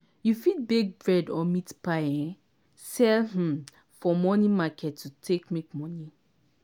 you fit bake bread or meat pie um sell um for morning market take make money.